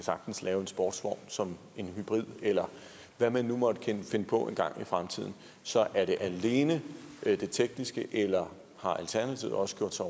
sagtens lave en sportsvogn som en hybrid eller hvad man nu måtte finde på en gang i fremtiden så er det alene det tekniske eller har alternativet også gjort sig